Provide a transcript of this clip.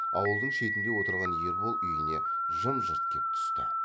ауылдың шетінде отырған ербол үйіне жым жырт кеп түсті